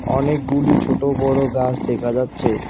অনেকগুলি ছোট বড়ো গাছ দেখা যাচ্ছে।